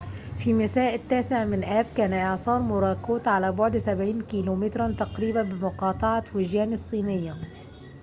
في مساء التاسع من آب كان إعصار موراكوت على بعد سبعين كيلو متراً تقريباً من مقاطعة فوجيان الصينية